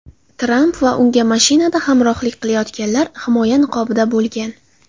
Tramp va unga mashinada hamrohlik qilayotganlar himoya niqobida bo‘lgan.